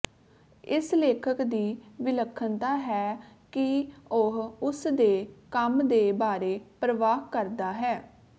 ਇਸ ਲੇਖਕ ਦੀ ਵਿਲੱਖਣਤਾ ਹੈ ਕਿ ਉਹ ਉਸ ਦੇ ਕੰਮ ਦੇ ਬਾਰੇ ਪਰਵਾਹ ਕਰਦਾ ਹੈ